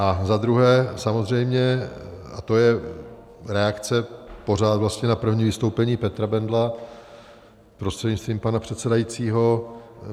A za druhé samozřejmě, a to je reakce pořád vlastně na první vystoupení Petra Bendla prostřednictvím pana předsedajícího.